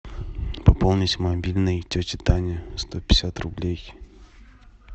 пополнить мобильный тети тани сто пятьдесят рублей